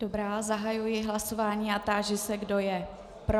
Dobrá, zahajuji hlasování a táži se, kdo je pro.